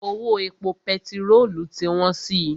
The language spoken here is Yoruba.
Owó epo pẹtirolu ti wọ́n si.